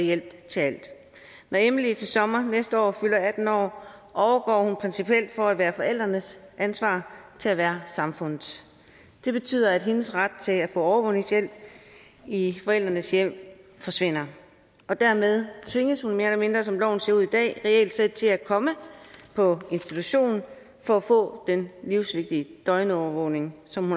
hjælp til alt når emily til sommer næste år fylder atten år overgår hun principielt fra at være forældrenes ansvar til at være samfundets det betyder at hendes ret til at få overvågningshjælp i forældrenes hjem forsvinder og dermed tvinges hun mere eller mindre som loven ser ud i dag reelt set til at komme på institution for at få den livsvigtige døgnovervågning som